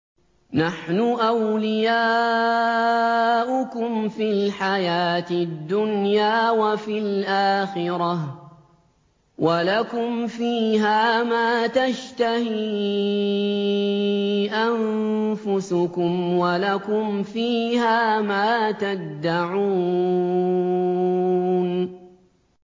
نَحْنُ أَوْلِيَاؤُكُمْ فِي الْحَيَاةِ الدُّنْيَا وَفِي الْآخِرَةِ ۖ وَلَكُمْ فِيهَا مَا تَشْتَهِي أَنفُسُكُمْ وَلَكُمْ فِيهَا مَا تَدَّعُونَ